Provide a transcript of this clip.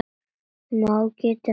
má geta þess